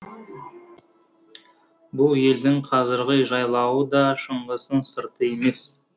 бұл елдің қазіргі жайлауы да шыңғыстың сырты емес